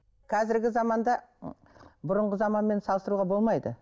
қазіргі заманда ы бұрынғы заманмен салыстыруға болмайды